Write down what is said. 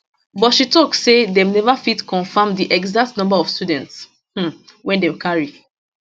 but she tok say dem neva fit confirm di exact number of students um wey dem carry